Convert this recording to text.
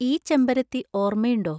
ഈ ചെമ്പരത്തി ഓർമയുണ്ടോ?